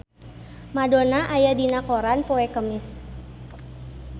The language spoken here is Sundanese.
Madonna aya dina koran poe Kemis